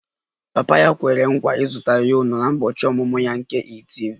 Papa ya kwere nkwa ịzụta ya ụlọ n'ụbọchị ọmụmụ ya nke 18